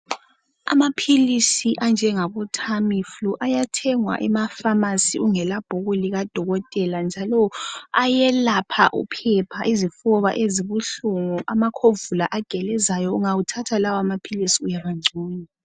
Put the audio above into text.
Amaphilisi anjengabo Tamiflu ayatholakala ezitolo ezithengiswa imithi lamaphilisi ungelalo ibhuku lika dokotela njalo ayelapha uphepha, izifuba ezibuhlungu lamafinyela .Ungawanatha lamaphilisi uyabangcono